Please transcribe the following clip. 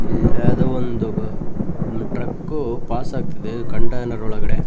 ಇಲ್ಲ ಯಾವ್ದೊ ಒಂದು ಟ್ರಕ್ಕ್ ಪಾಸಾ ಗ್ತಿದೆ ಕಂಟೈನರ್ ಒಳಗಡೆ.